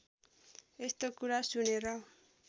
यस्तो कुरा सुनेर